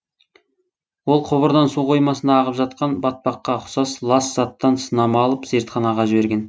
ол құбырдан су қоймасына ағып жатқан батпаққа ұқсас лас заттан сынама алып зертханаға жіберген